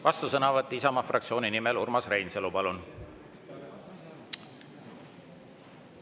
Vastusõnavõtt Isamaa fraktsiooni nimel, Urmas Reinsalu, palun!